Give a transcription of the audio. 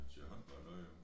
Til håndbold noget jo